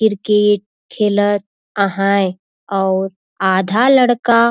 किर्केट खेलत आहाए अऊ आधा लड़का --